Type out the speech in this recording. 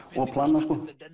of planað